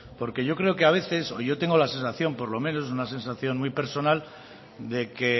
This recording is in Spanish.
porque yo creo que a veces o yo tengo la sensación por lo menos una sensación muy personal de que